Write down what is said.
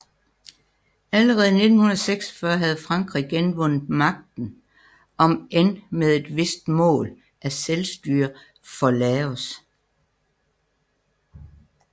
Allerede i 1946 havde Frankrig genvundet magten omend med et vist mål af selvstyre for Laos